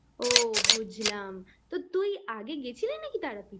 ও বুঝলাম তা তুই আগে গেছিলি নাকি তারাপীঠ এ?